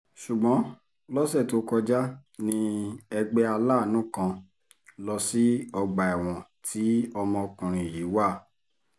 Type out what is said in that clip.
ṣùgbọ́n lọ́sẹ̀ tó kọjá ní ẹgbẹ́ aláàánú kan lọ sí ọgbà ẹ̀wọ̀n tí ọmọkùnrin yìí wà